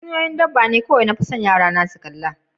Tatsuniya'n dabba ne kowai ni kan kalle Yara na su kalla.